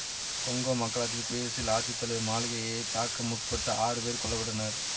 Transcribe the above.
Congo மக்களாட்சி குடியரசில் அரசு தலைவர் மாளிகையைத் தாக்க முற்பட்ட ஆறு பேர் கொல்ல பட்டனர்